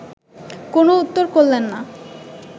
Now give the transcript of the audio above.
কোনো উত্তর করলেন না